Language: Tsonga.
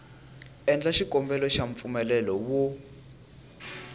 endla xikombelo xa mpfumelelo wo